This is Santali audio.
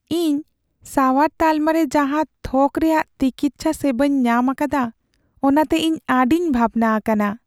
ᱤᱧ ᱥᱟᱣᱟᱨ ᱛᱟᱞᱢᱟ ᱨᱮ ᱡᱟᱦᱟᱸ ᱛᱷᱚᱠ ᱨᱮᱭᱟᱜ ᱛᱤᱠᱤᱪᱪᱷᱟ ᱥᱮᱵᱟᱧ ᱧᱟᱢ ᱟᱠᱟᱫᱟ, ᱚᱱᱟᱛᱮ ᱤᱧ ᱟᱹᱰᱤᱧ ᱵᱷᱟᱵᱽᱱᱟ ᱟᱠᱟᱱᱟ ᱾